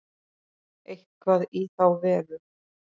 Eitthvað í þá veru.